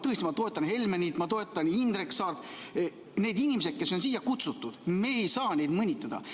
Ma toetan Helmenit, ma toetan Indrek Saart ja ma ütlen ka, et need inimesed, kes on siia kutsutud, me ei saa neid mõnitada.